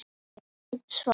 Ég veit svarið.